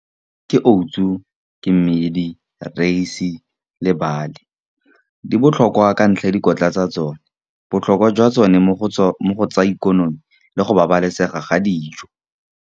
Ke oats-u ke mmedi rice le . Di botlhokwa ka ntlha ya dikotla tsa tsone, botlhokwa jwa tsone mo go tsa ikonomi le go babalesega ga dijo.